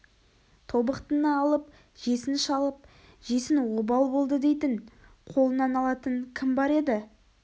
тобықтыны алып жесін шалып жесін обал болды дейтін қолынан алатын кім бар еді